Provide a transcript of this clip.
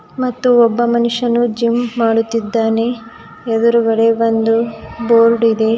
ಮತ್ತು ಒಬ್ಬ ಮನುಷ್ಯನು ಜಿಮ್ ಮಾಡುತ್ತಿದ್ದಾನೆ ಎದುರುಗಡೆ ಒಂದು ಬೋರ್ಡ್ ಇದೆ.